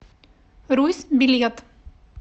русь билет